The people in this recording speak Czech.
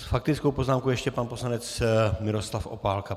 S faktickou poznámkou ještě pan poslanec Miroslav Opálka.